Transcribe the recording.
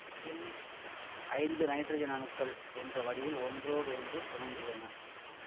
இதில் ஐந்து நைட்ரஜன் அணுக்கள் என்ற வடிவில் ஒன்றோடொன்று பிணைந்துள்ளன